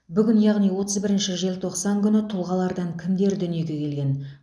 бүгін яғни отыз бірінші желтоқсан күні тұлғалардан кімдер дүниеге келген